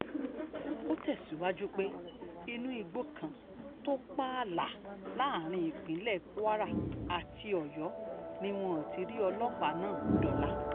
ó tẹ̀síwájú pé inú igbó kan tó pààlà um láàrin ìpínlẹ̀ kwara àti ọ̀yọ́ ni wọ́n ti rí um ọlọ́pàá náà dóòlà